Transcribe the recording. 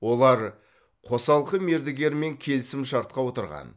олар қосалқы мердігермен келісімшартқа отырған